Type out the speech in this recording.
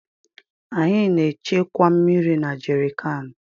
Anyị na-echekwa mmiri na jerịkaanụ.